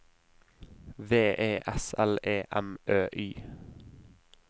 V E S L E M Ø Y